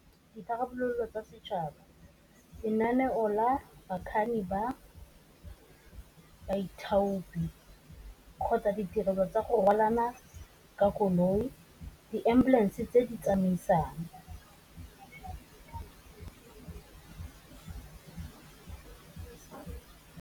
Ditharabololo tsa setšhaba, lenaneo bakganni ba baithopi, kgotsa ditirelo tsa go rwalana ka koloi, di ambulance tse di tsamaisang.